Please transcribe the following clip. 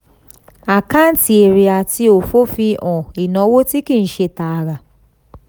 àkáǹtì èrè àti òfò fi hàn ìnáwó tí kì í ṣe tààrà.